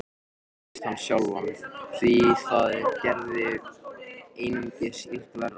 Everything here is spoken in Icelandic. Síst hann sjálfan, því það gerði einungis illt verra.